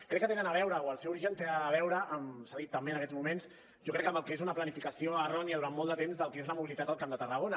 crec que tenen a veure o el seu origen té a veure s’ha dit també en aquests moments jo crec que amb el que és una planificació errònia durant molt de temps del que és la mobilitat al camp de tarragona